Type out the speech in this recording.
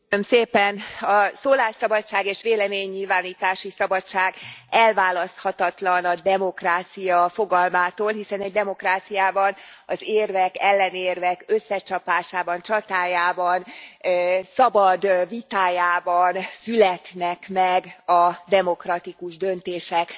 Elnök Asszony, a szólásszabadság és véleménynyilvánítási szabadság elválaszthatatlan a demokrácia fogalmától, hiszen egy demokráciában az érvek, ellenérvek összecsapásában, csatájában, szabad vitájában születnek meg a demokratikus döntések.